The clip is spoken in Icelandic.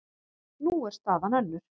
Nú er staðan önnur.